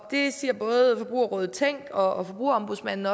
det siger både forbrugerrådet tænk og forbrugerombudsmanden